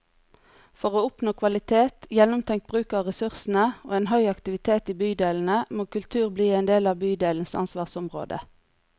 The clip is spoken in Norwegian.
For å oppnå kvalitet, gjennomtenkt bruk av ressursene og en høy aktivitet i bydelene, må kultur bli en del av bydelenes ansvarsområde.